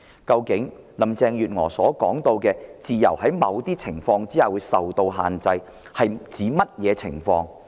究竟林鄭月娥所說的"自由在某些情況下會被限制"是指甚麼情況？